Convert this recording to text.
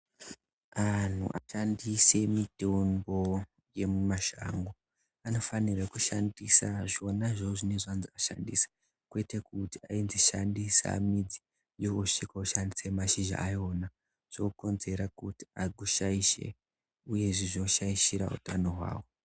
Antu ano shandise mitombo yemu mashango, anofanire kushandisa zvona izvozvo zvinenge zvanzi ushandise, kwete kuti wanzi ushandise midzi, iwe wosvika woshandisa mashizha ayo zvinokonzera kuti aku shaishe uye zvei kushaishire hutano hwako.